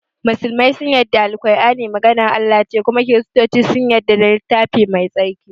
musulmai sun yadda da Al-kur'ani maganar Allah ne kuma kiristuce sun yadda da littafi mai tsarki